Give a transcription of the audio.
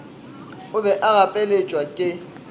o be a gapeletšwa ke